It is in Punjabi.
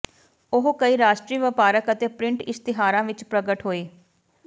ਉਹ ਕਈ ਰਾਸ਼ਟਰੀ ਵਪਾਰਕ ਅਤੇ ਪ੍ਰਿੰਟ ਇਸ਼ਤਿਹਾਰਾਂ ਵਿੱਚ ਪ੍ਰਗਟ ਹੋਈ